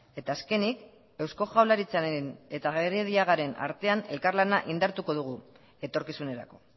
eta azkenik eusko jaurlaritzaren eta gerediagaren artean elkarlana indartuko dugu etorkizunerako